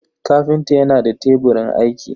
kafinta yana da teburin aiki.